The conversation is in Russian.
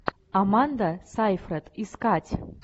аманда сайфред искать